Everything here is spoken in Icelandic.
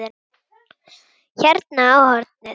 Hérna á hornið.